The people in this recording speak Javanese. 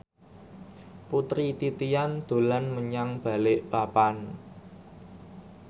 Putri Titian dolan menyang Balikpapan